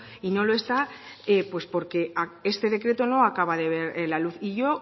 y no lo está pues porque este decreto no acaba de ver la luz yo